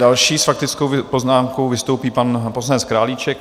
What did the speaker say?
Další s faktickou poznámkou vystoupí pan poslanec Králíček.